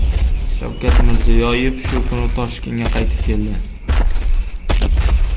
Shavkat Mirziyoyev shu kuni Toshkentga qaytib keldi .